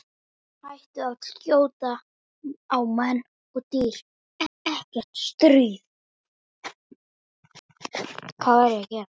Hættir að skjóta á menn og dýr.